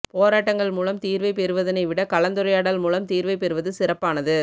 போராட்டங்கள் மூலம் தீர்வை பெறுவதனை விட கலந்துரையாடல் மூலம் தீர்வை பெறுவது சிறப்பானது